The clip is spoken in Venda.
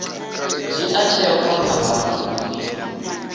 dzhia tsheo kha phambano ndi